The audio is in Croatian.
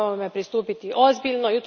Potrebno je ovom pristupiti ozbiljno.